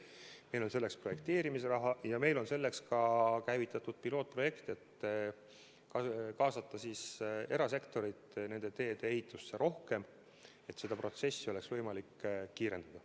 Meil on selleks projekteerimisraha ja meil on selleks ka käivitatud pilootprojekt, et kaasata erasektorit nende teede ehitusse rohkem, et seda protsessi oleks võimalik kiirendada.